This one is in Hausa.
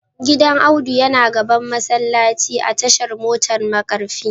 Gidan Audu yana gaban masallaci a tashar motar markafi